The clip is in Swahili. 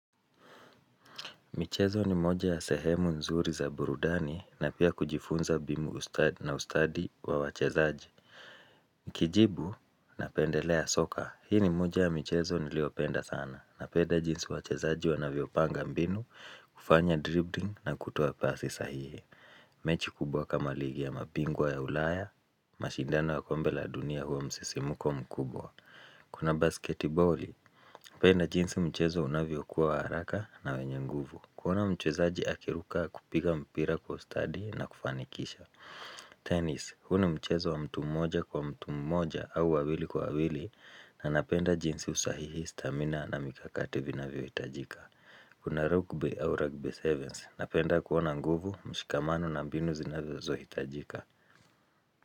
Michezo ni moja ya sehemu nzuri za burudani na pia kujifunza binu na ustadi wa wachezaji. Nikijibu napendelea soka. Hii ni moja ya michezo niliyopenda sana. Napenda jinsi wachezaji wanavyopanga mbinu, kufanya dribbling na kutoa pasi sahihi. Mechi kubwa kama ligi ya mabingwa ya ulaya, mashindano ya kombe la dunia huwa msisimuko mkubwa. Kuna basketiboli, napenda jinsi michezo unavyokuwa wa haraka na wenye nguvu. Kuona mchezaji akiruka kupiga mpira kwa ustadi na kufanikisha Tenis, huu ni mchezo wa mtu mmoja kwa mtu mmoja au wawili kwa wawili na napenda jinsi usahihi, stamina na mikakati vinavyo hitajika Kuna rugby au rugby sevens Napenda kuona nguvu, mshikamano na mbinu zinavyo zo hitajika.